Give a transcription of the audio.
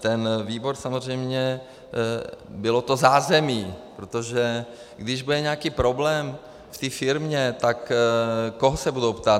Ten výbor samozřejmě - bylo to zázemí, protože když bude nějaký problém v té firmě, tak koho se budou ptát?